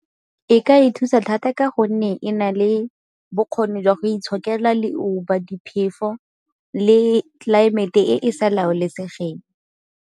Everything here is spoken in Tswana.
E ka e thusa thata ka gonne e na le bokgoni jwa go itshokela le diphefo le tlelaemete e e sa laolesegeng.